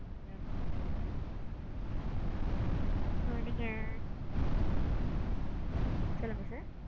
ஆமாம் sir. sir நீங்க. சொல்லுங்க sir.